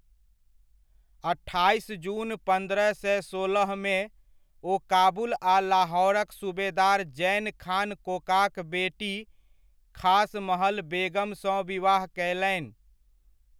अठाइस जून पन्द्रह सए सोलहमे, ओ काबुल आ लाहौरक सूबेदार ज़ैन खान कोकाक बेटी ख़ास महल बेगमसँ विवाह कयलनि।